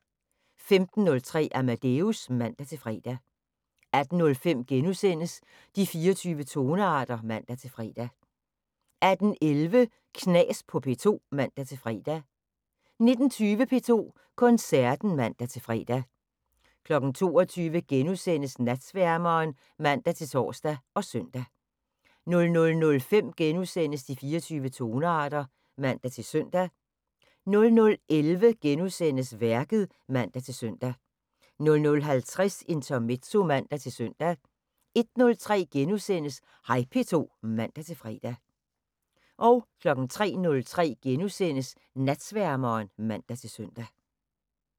15:03: Amadeus (man-fre) 18:05: De 24 tonearter *(man-fre) 18:11: Knas på P2 (man-fre) 19:20: P2 Koncerten (man-fre) 22:00: Natsværmeren *(man-tor og søn) 00:05: De 24 tonearter *(man-søn) 00:11: Værket *(man-søn) 00:50: Intermezzo (man-søn) 01:03: Hej P2 *(man-fre) 03:03: Natsværmeren *(man-søn)